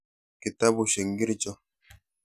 kitabusheck nkircho?